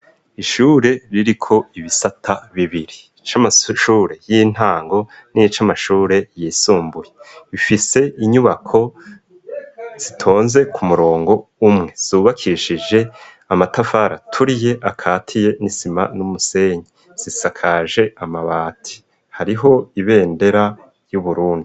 Ishure ririko ibisata bibiri. Ic'amashure y'intango n'ic'amashure y'isumbuye, bifise inyubako zitonze ku murongo umwe zubakishije amatavari aturiye akatiye n'isima n'umusenyi. Zisakaje amabati, hariho ibendera y' Uburundi.